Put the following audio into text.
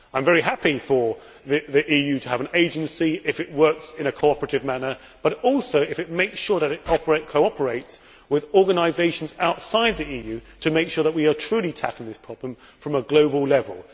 I am very happy for the EU to have an agency, if it works in a cooperative manner but also if it makes sure that it cooperates with organisations outside the EU to make sure that we are truly tackling this problem at a global level.